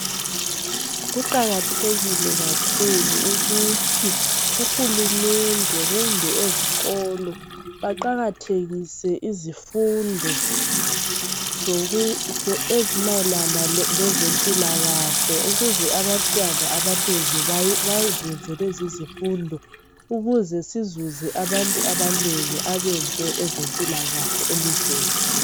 kuqakathekile kakhulu ukuthi uhulumende kumbe ezikolo baqakathekilse izifundo ezimayelana lezempilakahle ukuze abantwana abanengi bazenze lezi izifundo ukuze sizuze abantu abanengi abenze ezempilakahle elizweni